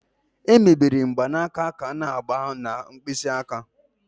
Emebere mgbanaka ka a n'agba na mkpịsị aka